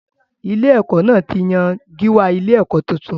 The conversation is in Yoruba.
Ilé-ẹ̀kọ́ náà ti yan gíwá ilé-ẹ̀kọ́ tuntun.